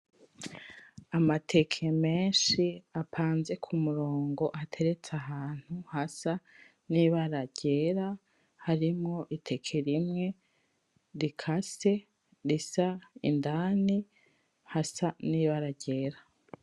Amateke menshi apanze kumurongo ateretse ahantu hasa nibara ryera harimwo iteke rimwe rikase risa indani hasa nibara ryera